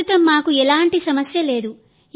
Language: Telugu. ప్రస్తుతం మాకు ఎలాంటి సమస్య లేదు